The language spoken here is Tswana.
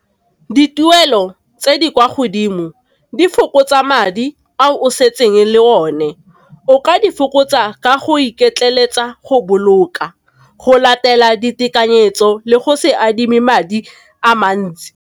Dituelo tse di kwa godimo di fokotsa madi a o setseng le o ne, o ka di fokotsa ka go iketleletsa go boloka go latela ditekanyetso le go se adime madi a mantsi.